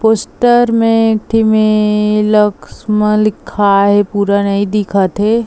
Poster में एथी में लक्स म लिखा हे पूरा नहीं दिखत थे।